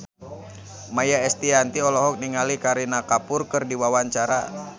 Maia Estianty olohok ningali Kareena Kapoor keur diwawancara